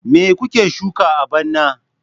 Me kuke shuka a bana?